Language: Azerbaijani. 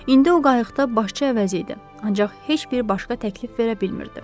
İndi o qayıqda başçı əvəzi idi, ancaq heç bir başqa təklif verə bilmirdi.